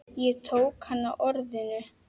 Ég tók hann á orðinu.